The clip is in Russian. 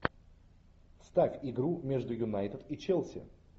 ставь игру между юнайтед и челси